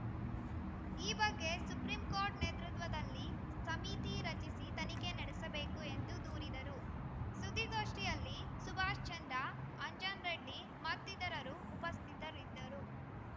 ಈ ಬಗ್ಗೆ supreme court ನೇತೃತ್ವದಲ್ಲಿ ಸಮಿತಿ ರಚಿಸಿ ತನಿಖೆ ನಡೆಸಬೇಕು ಎಂದು ದೂರಿದರು ಸುದ್ದಿಗೋಷ್ಠಿಯಲ್ಲಿ ಸುಭಾಷ್‌ ಚಂದ್ರ ಅಂಜನ್‌ ರೆಡ್ಡಿ ಮತ್ತಿತರರು ಉಪಸ್ಥಿತರಿದ್ದರು